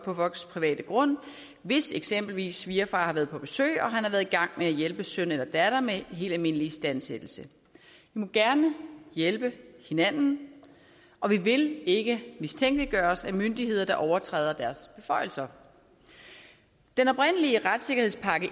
private grund hvis eksempelvis svigerfar har været på besøg og han har været i gang med at hjælpe søn eller datter med helt almindelig istandsættelse vi må gerne hjælpe hinanden og vi vil ikke mistænkeliggøres af myndigheder der overtræder deres beføjelser den oprindelige retssikkerhedspakke